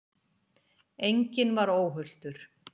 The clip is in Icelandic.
Enginn var óhultur.